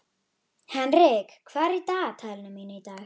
Henrik, hvað er í dagatalinu mínu í dag?